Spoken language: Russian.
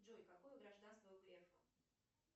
джой какое гражданство у грефа